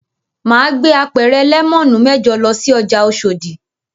Mà á gbé apẹ̀rẹ̀ lẹ́mọ́nù mẹ́jọ lọ sí ọjà Oṣòdì.